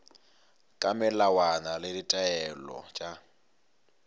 ka melawana le ditaelo tša